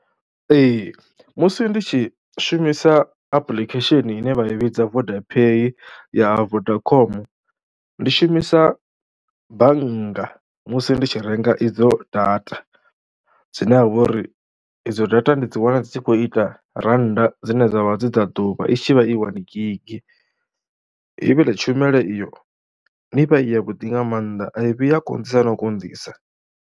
Ee musi ndi tshi shumisa apulikhesheni ine vha i vhidza Voda Paye ya ha Vodacom, ndi shumisa bannga musi ndi tshi renga idzo data dzine ha vha uri idzo data ndi dzi vhaa dzi tshi khou ita rannda dzine dza vha dzi dza ḓuvha i tshi vha i wani gigi. Ivhiḽe tshumelo iyo i vha i yavhuḓi nga maanḓa a i vhuyi ya konḓisa na u konḓisa.